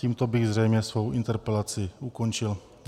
Tímto bych zřejmě svou interpelaci ukončil.